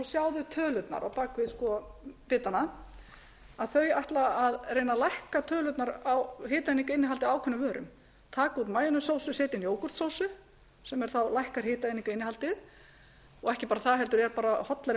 sjá þau tölurnar á bak við bitana þau ætla að reyna að lækka tölurnar á hitaeiningainnihaldi á ákveðnum vörum taka út majonessósu setja inn jógúrtsósu sem þá lækkar hitaeiningainnihaldið og ekki bara það heldur er bara hollari